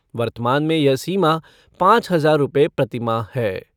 वर्तमान में यह सीमा पाँच हज़ार रुपये प्रतिमाह है।